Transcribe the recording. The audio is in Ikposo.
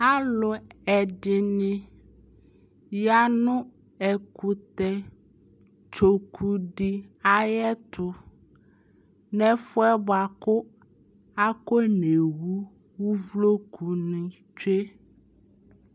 alʋɛdini yanʋ ɛkʋtɛ tsɔkʋ di ayɛtʋ, nʋbɛƒʋɛ bʋakʋ aƒɔ nɛwʋ ʋvlɔkʋ ni twɛ